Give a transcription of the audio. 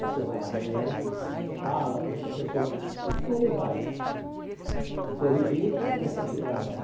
Você vai lá amanhã, fala para o professor que ele vai corrigir, ele vai re reconsiderar a nota.